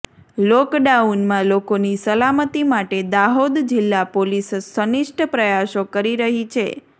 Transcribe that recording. લોકડાઉનમાં લોકોની સલામતી માટે દાહોદ જિલ્લા પોલીસ સંનિષ્ઠ પ્રયાસો કરી રહી છે